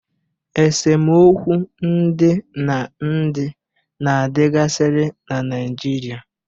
Esemokwu ndị na ndị na-adịgasiri na Naijiria.